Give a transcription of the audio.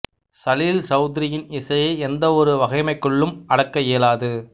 சலீல் சௌதுரியின் இசையை எந்த ஒரு வகைமைக்குள்ளும் அடக்க இயலாது